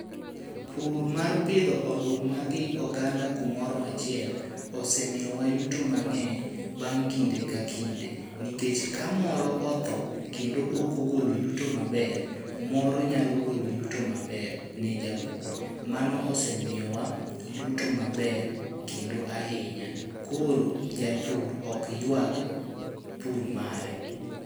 Pur mar pidho oduma gi oganda kumoro achiel osemiyowa yuto mang'eny bang' kinde k kinde. Nikech ka moro otho kendo okogolo yuto maber, moro nyalo golo yuto maber ne japur, mano osemiyowa yuto maber kendo ahinya. Koro japur ok yuag pur mare.